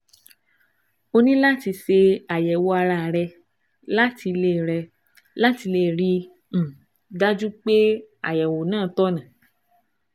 O ní láti ṣe àyẹ̀wò ara rẹ láti lè rẹ láti lè rí i um dájú pé àyẹ̀wò náà tọ̀nà